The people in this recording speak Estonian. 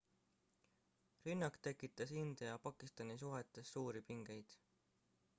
rünnak tekitas india ja pakistani suhetes suuri pingeid